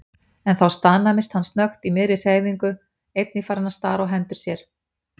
En þá staðnæmdist hann snöggt í miðri hreyfingu, einnig farinn að stara á hendur sér.